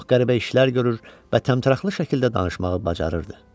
Çox qəribə işlər görür və təmtəraqlı şəkildə danışmağı bacarırdı.